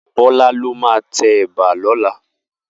Bola ló má tè èbà lòlá